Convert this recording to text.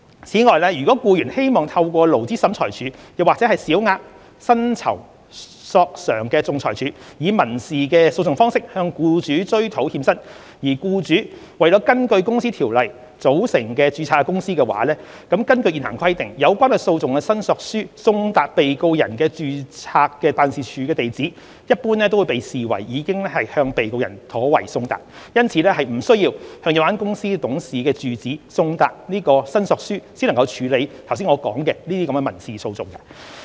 此外，如僱員希望透過勞資審裁處或小額薪酬索償仲裁處以民事訴訟方式向僱主追討欠薪，而僱主為根據《公司條例》組成及註冊的公司，根據現行規定，有關訴訟的申索書送達被告人的註冊辦事處地址，一般便會被視為已向被告人妥為送達，因此並不需要向有關公司董事的住址送達申索書才能處理我剛才所述的民事訴訟。